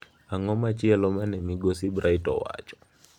Ang’o machielo mane Migosi Bright owacho?